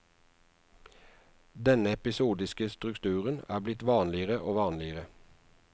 Denne episodiske strukturen er blitt vanligere og vanligere.